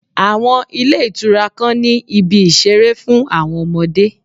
Àwọn ilé ìtura kan ni ibi ìṣeré fún àwọn ọmọdé.